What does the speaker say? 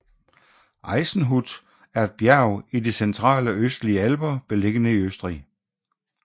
Eisenhut er et bjerg i de centrale østlige alper beliggende i Østrig